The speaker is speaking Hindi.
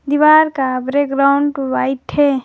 दीवार का ब्रेग्राउंड वाइट है।